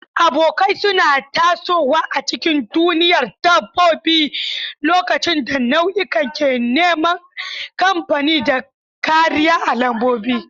Abokai suna tasowa a cikin duniyar dabbobi lokacin da nau'ikan ke neman kamfani da kariya a lambobi.